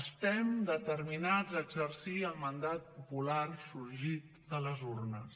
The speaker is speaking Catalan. estem determinats a exercir el mandat popular sorgit de les urnes